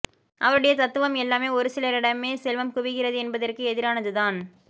அவருடைய தத்துவம் எல்லாமே ஒரு சிலரிடமே செல்வம் குவிகிறது என்பதற்கு எதிரானதுதான்